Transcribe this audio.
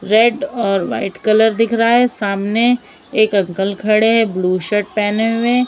Red और white colour दिख रहा है सामने एक अंकल खड़े हैं ब्लू शर्ट पहने हुए।